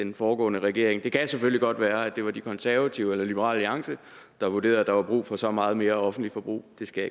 den foregående regering det kan selvfølgelig godt være at det var de konservative eller liberal alliance der vurderede at der var brug for så meget mere offentligt forbrug det skal